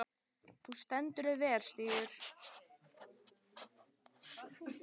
Þú stendur þig vel, Stígur!